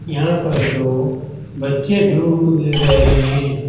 यहाँ पर दो बच्चे डूब बूब रहे हैं।